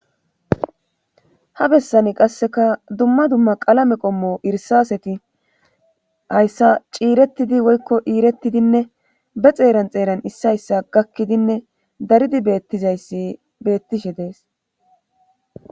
ha bessani qasseka dumma dumma qalame qommo irisaseti hayssa ciirettidi woykko iirettidinne be xeeran xeeran issay issa hayssa gakkidinne daridi beettizayssi beettishe dees.